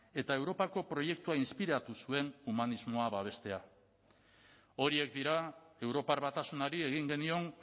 eta europako proiektua inspiratu zuen humanismoa babestea horiek dira europar batasunari egin genion